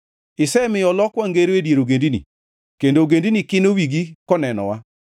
Isemiyo olokwa ngero e dier ogendini; kendo ogendini kino wigi konenowa.